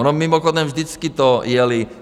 Ono mimochodem vždycky to jeli...